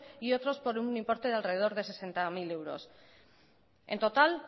y otros por un importe alrededor de sesenta mil euros en total